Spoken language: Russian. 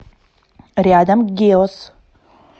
рядом геос